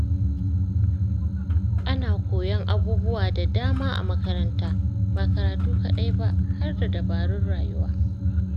Ana koyon abubuwa da dama a makaranta, ba karatu kaɗai ba, har da dabarun rayuwa.